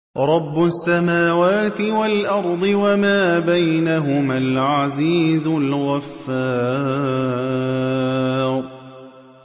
رَبُّ السَّمَاوَاتِ وَالْأَرْضِ وَمَا بَيْنَهُمَا الْعَزِيزُ الْغَفَّارُ